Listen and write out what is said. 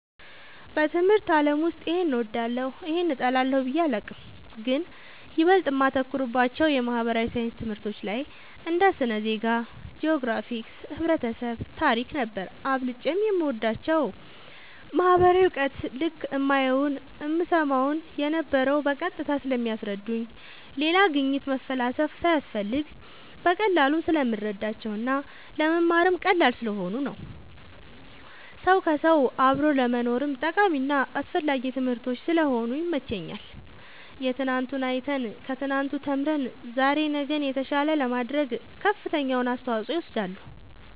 በትምህርት አለም ውስጥ ይሄን እወዳለሁ ይህን እጠላለሁ ብየ አላቅም ግን ይበልጥ እማተኩርባቸው የማህበራዊ ሣይንስ ትምህርቶች ላይ እንደ ስነ ዜጋ ,ጅኦግራፊክስ ,ህብረተሰብ ,ታሪክ ነበር አብልጨም የምወዳቸው ማህበራዊ እውቀት ልክ እማየውን እምሰማውን የነበረው በቀጥታ ስለሚያስረዱኝ ሌላ ግኝት መፈላሰፍ ሳያስፈልግ በቀላሉ ስለምረዳቸው እና ለመማርም ቀላል ስለሆኑ ነው ሰው ከውሰው አብሮ ለመኖርም ጠቃሚና አስፈላጊ ትምህርቶች ስለሆኑ ይመቸኛል የትናንቱን አይተን ከትናንቱ ተምረን ዛሬ ነገን የተሻለ ለማድረግ ከፍተኛውን አስተዋፅኦ ይወስዳሉ